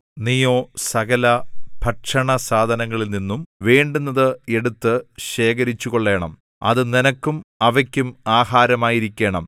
നീയോ സകലഭക്ഷണസാധനങ്ങളിൽനിന്നും വേണ്ടുന്നത് എടുത്ത് ശേഖരിച്ചുകൊള്ളേണം അത് നിനക്കും അവയ്ക്കും ആഹാരമായിരിക്കേണം